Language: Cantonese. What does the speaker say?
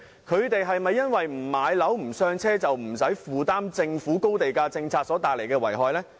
他們不買樓"上車"，是否便不用承擔政府高地價政策所帶來的遺害？